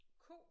Ko?